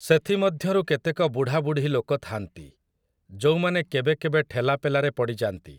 ସେଥିମଧ୍ୟରୁ କେତେକ ବୁଢ଼ାବୁଢ଼ୀ ଲୋକ ଥା'ନ୍ତି, ଯୋଉମାନେ କେବେକେବେ ଠେଲାପେଲାରେ ପଡ଼ିଯା'ନ୍ତି।